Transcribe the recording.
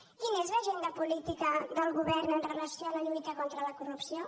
quina és l’agenda política del govern amb relació a la lluita contra la corrupció